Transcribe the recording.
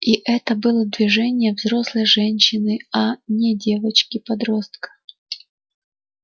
и это было движение взрослой женщины а не девочки-подростка